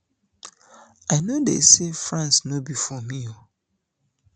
i no dey say france no be for me